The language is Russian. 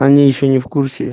они ещё не в курсе